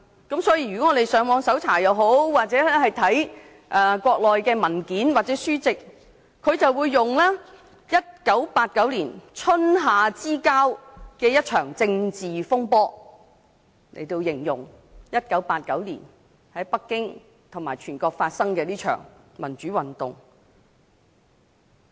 如果我們上網搜查或閱讀國內的文件或書籍，會得知當局以 "1989 年春夏之交的一場政治風波"來形容1989年在北京及全國發生的一場民主運動。